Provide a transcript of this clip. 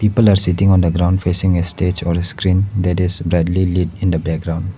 People are sitting on the ground facing a stage or screen that is brightly lit in the background.